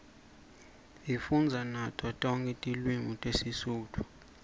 sifundza nato tonke tilwimi tesitifu